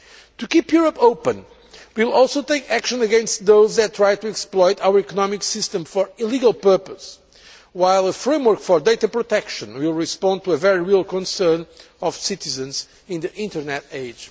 To keep Europe open, we will also take action against those that try to exploit our economic system for illegal purposes, while the framework for data protection will respond to a very real concern of citizens in the Internet